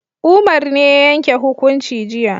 Umar ne ya yanke hukunci jiya